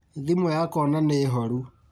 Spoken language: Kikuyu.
Thimu yakwa ona nĩ horu